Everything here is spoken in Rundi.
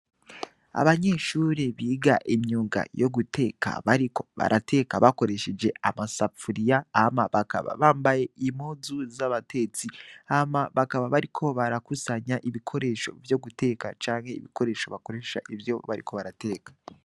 Abanyeshuri biga imyuga yo guteka bariko barateka bakoresheje amasafuriya hama bakaba bambaye impuzu z'abatetsi hama bakaba bariko barakusanya ibikoresho vyo guteka canke ibikoresho bakoresha ivyo bariko barateka.